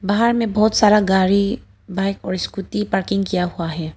बाहर में बहुत सारा गाड़ी बाइक और स्कूटी पार्किंग किया हुआ है।